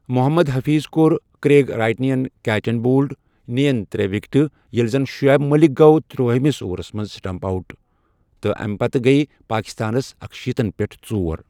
محمد حفیظ کوٚر کریگ رائٹنے catch and bowled, نین ترٛےٚ وِکٹہٕ ، ییٚلہِ زَن شعیب ملک گوٚو ترٛوہٲیمِس اورَس منٛز سٹمپ آوٹ تہٕ امہِ پتہٕ گٔیہ پٲکستانس اکشیٖتن پٮ۪ٹھ ژور۔